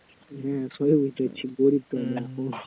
হ্যাঁ সবই বুঝতে পারছি গরীব